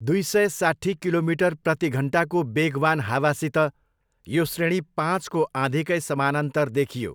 दुई सय साट्ठी किलोमिटर प्रतिघन्टाको वेगवान् हावासित यो श्रेणी पाँचको आँधीकै समानान्तर देखियो।